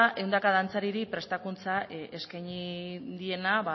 ehundaka dantzariri prestakuntza eskaini diena